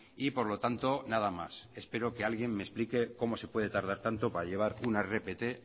y por lo tanto nada más espero que alguien me explique cómo se puede tardar tanto para llevar una rpt